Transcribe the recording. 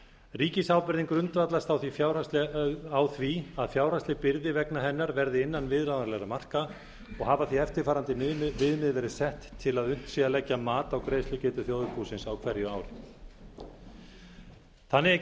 ríkisábyrgðin grundvallast á því að fjárhagsleg byrði vegna hennar verði innan viðráðanlegra marka og hafa því eftirfarandi viðmið verið sett til að unnt sé að leggja mat á greiðslugetu þjóðarbúsins á hverju ári þannig er